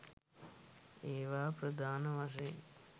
ඒවා ප්‍රධාන වශයෙන්